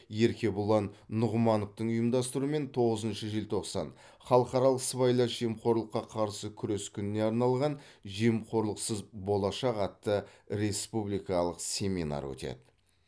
еркебұлан нұғымановтың ұйымдастыруымен тоғызыншы желтоқсан халықаралық сыбайлас жемқорлыққа қарсы күрес күніне арналған жемқорлықсыз болашақ атты республикалық семинар өтеді